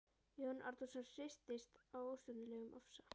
Jón Árnason hristist af óstjórnlegum ofsa.